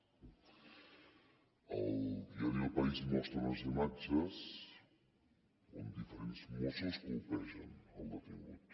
el diari el país mostra unes imatges on diferents mossos colpegen el detingut